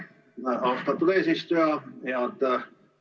Aitäh, austatud eesistuja!